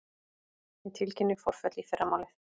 Ég tilkynni forföll í fyrramálið.